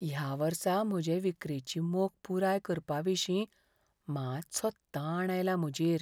ह्या वर्सा म्हजे विक्रेची मोख पुराय करपाविशीं मात्सो ताण आयला म्हजेर.